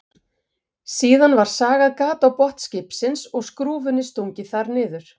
Síðan var sagað gat á botn skipsins og skrúfunni stungið þar niður.